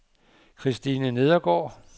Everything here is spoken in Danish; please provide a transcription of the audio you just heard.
Kristine Nedergaard